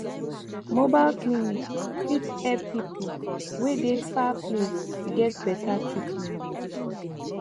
mobile clinic fit epp pipu wey dey far place get beta treatment